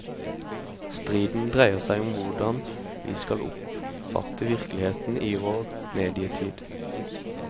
Striden dreier seg om hvordan vi skal oppfatte virkeligheten i vår medietid.